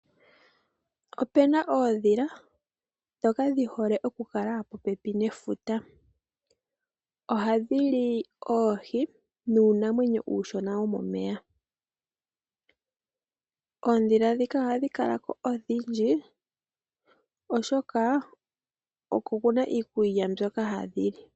Opena oondhila ndhoka dhi hole oku kala popepi nefuta. Ohadhi li oohi nuunamwenyo uushona womomeya. Oondhila ndhika ohadhi kala ko odhindji oshoka oko kuna iikulya mbyoka hadhi li.